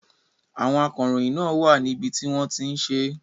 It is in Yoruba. Àwọn akọ̀ròyìn náà wà níbi tí wọ́n ti ń ṣe é.